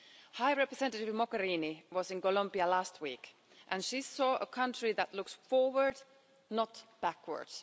High Representative Mogherini was in Colombia last week and she saw a country that looks forward, not backwards.